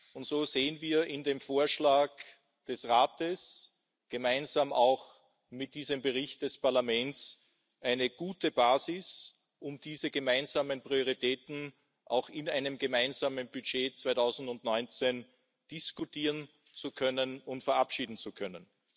Und so sehen wir in dem Vorschlag des Rates gemeinsam auch mit diesem Bericht des Parlaments eine gute Basis, um diese gemeinsamen Prioritäten in einem gemeinsamen Budget 2019 diskutieren zu können und verabschieden zu können.